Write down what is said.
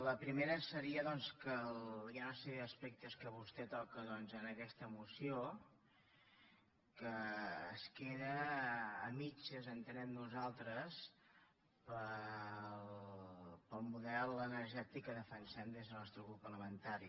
la primera seria doncs que hi ha una sèrie d’aspectes que vostè toca en aquesta moció que es queden a mitges entenem nosaltres pel model energètic que defensem des del nostre grup parlamentari